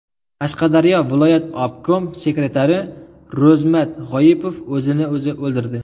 Qashqadaryo viloyat obkom sekretari Ro‘zmat G‘oipov o‘zini o‘zi o‘ldirdi.